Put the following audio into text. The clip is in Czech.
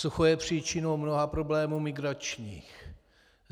Sucho je příčinou mnoha problémů migračních.